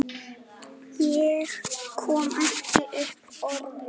Ég kom ekki upp orði.